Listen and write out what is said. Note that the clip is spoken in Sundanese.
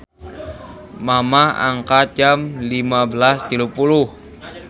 Mamah angkat jam 15.30